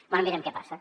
bé mirem què passa